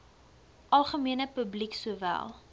algemene publiek sowel